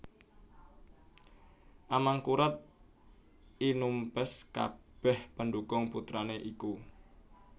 Amangkurat I numpes kabèh pendhukung putrané iku